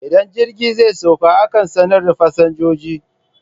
Idan jirgi zai sauka akan sanar da fasinjoji